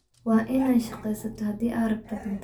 Waa inad shagesato hadii aadrabto cunta.